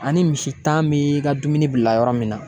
Ani misan bi ka dumuni bila yɔrɔ min na.